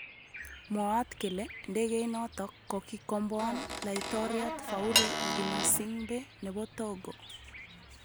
Mwaat kele ndegeinotok kokiikomboan Laitoriat Faure Ginassingbe nebo Togo